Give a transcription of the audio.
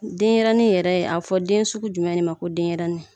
Denɲɛrɛnin yɛrɛ ye a bɛ fɔ den sugu jumɛn de ma ko denɲɛrɛnin.